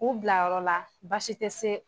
K'u bila yɔrɔ la baasi te se